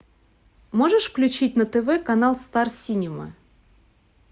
можешь включить на тв канал стар синема